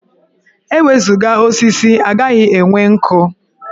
E wezuga osisi, a gaghị enwe nkụ.